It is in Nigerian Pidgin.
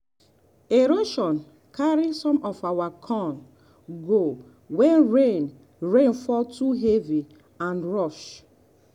erosion carry some of our corn go when rain rain fall too heavy and rush.